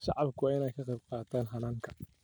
Shacabku waa in ay ka qaybqaataan hannaanka.